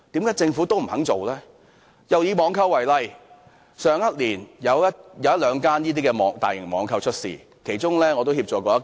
又以網購為例，去年有一兩間大型網購公司結業，我曾協助其中一間。